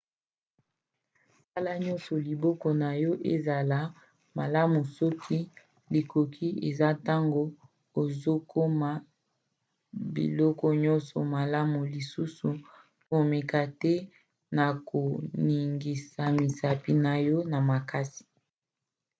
sala nyonso liboko na yo ezala malamu soki likoki ezali ntango ozokoma biloko nyonso malamu - lisusu komeka te na koningisa misapi na yo na makasi